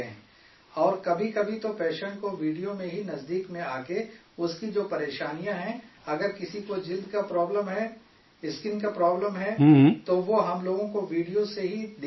اور کبھی کبھی تو پیشنٹ کو ویڈیو میں ہی نزدیک میں آ کے اس کی جو پریشانیاں ہیں اگر کسی کو جلد کا پرابلم ہے، اسکن کا پرابلم ہے، تو وہ ہم لوگ کو ویڈیو سے ہی دکھا دیتے ہیں